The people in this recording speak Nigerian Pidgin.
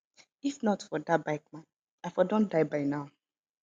if not for dat bike man i for don die by now